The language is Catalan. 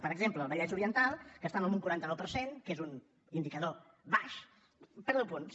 per exemple el vallès oriental que estava amb un quaranta nou per cent que és un indicador baix perd deu punts